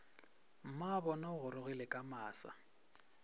mmabona o gorogile ka masa